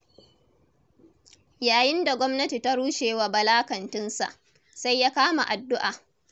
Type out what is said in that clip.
Yayin da gwamnati ta rushe wa Bala kantinsa, sai ya kama addu'a.